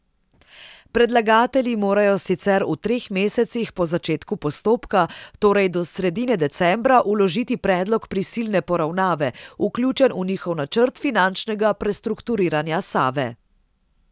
Predlagatelji morajo sicer v treh mesecih po začetku postopka, torej do sredine decembra, vložiti predlog prisilne poravnave, vključen v njihov načrt finančnega prestrukturiranja Save.